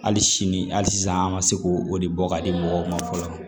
Hali sini hali sisan an ka se ko o de bɔ ka di mɔgɔw ma fɔlɔ